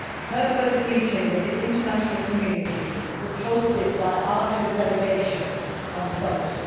Her first meeting with the international community was hosted by our Head of Delegation on Sunday.